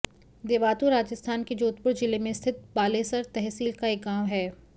देवातु राजस्थान के जोधपुर जिले में स्थित बालेसर तहसील का एक गाँव है